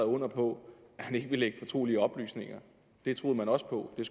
under på at han ikke ville lække fortrolige oplysninger det troede man også på men